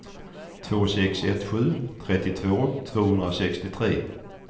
två sex ett sju trettiotvå tvåhundrasextiotre